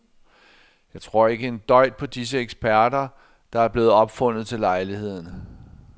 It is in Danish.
Jeg tror ikke en døjt på disse eksperter, der er blevet opfundet til lejligheden.